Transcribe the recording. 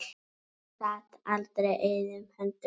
Hún sat aldrei auðum höndum.